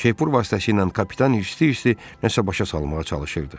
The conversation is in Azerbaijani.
Şepur vasitəsilə kapitan hirsli-hirsli nəsə başa salmağa çalışırdı.